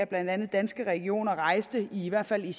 blandt andet danske regioner i hvert fald i